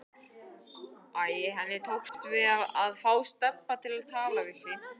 Æ, henni tókst að fá Stebba til við sig.